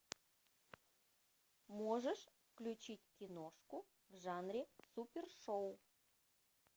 можешь включить киношку в жанре супершоу